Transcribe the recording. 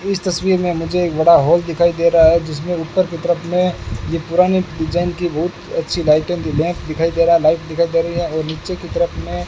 इस तस्वीर में मुझे एक बड़ा हॉल दिखाई दे रहा है जिसमें उत्तर की तरफ में ये पुरानी डिजाइन की बहुत अच्छी दिखाई दे रहा लाइट दिखाई दे रही है और नीचे की तरफ में --